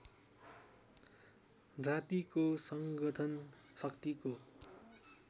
जातिको सङ्गठन शक्तिको